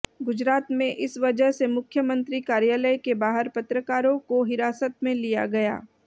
गुजरात में इस वजह से मुख्यमंत्री कार्यालय के बाहर पत्रकारों को हिरासत में लिया गया